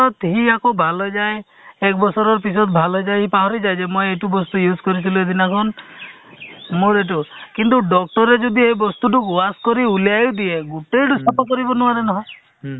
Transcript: to সেইটোয়ে মানে বস্তুটো হয় actually চোৱা আ তোমাৰ অ মাহে area wise যোৱা sub ~ sub centre wise তোমাৰ কি হয় camp পাতে নহয় জানো session থাকে সেই session তো তোমাৰ অ যিটো pregnant woman আহে